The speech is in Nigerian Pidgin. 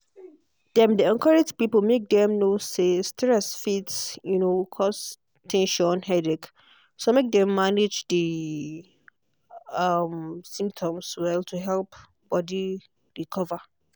dem dey encourage people make dem know say stress fit um cause ten sion headache so make dem manage di um symptoms well to help body recover